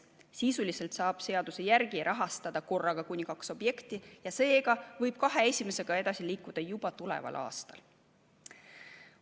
Sisuliselt saab seaduse järgi rahastada korraga kuni kahte objekti ja seega võib kahe esimesega edasi liikuda juba tuleval aastal.